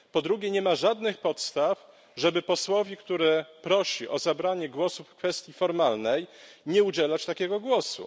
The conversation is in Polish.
Po drugie, nie ma żadnych podstaw, żeby posłowi, który prosi o zabranie głosu w kwestii formalnej, nie udzielać takiego głosu.